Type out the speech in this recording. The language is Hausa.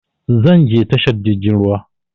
Zan je tashar jirgin ruwa